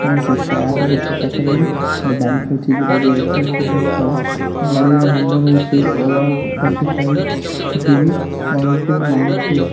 ଏବଂ ସେ କାର୍ ଗୋଟେ ପାଖରେ ଗୋଟେ ବାଇକ୍ ଥୋଇଚି ଯୋଉଟା କି ଏଚ_ଏଫ୍_ଡିଲକ୍ସ ର ଗାଡ଼ିର ନମ୍ବର ହୋଉଚି O R twenty five B one two nine two.